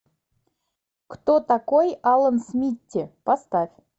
кто такой алан смитти поставь